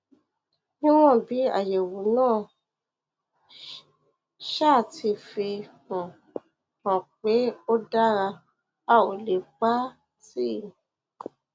níwọn bí àyẹwò náà um ti fi um hàn pé ó dára a ò lè pa á um tì